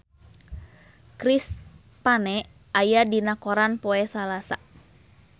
Chris Pane aya dina koran poe Salasa